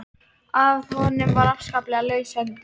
Að honum var afskaplega laus höndin.